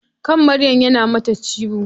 Kan Maryam na mata ciwo.